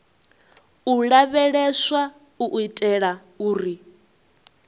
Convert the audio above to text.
u lavheleswa u itela uri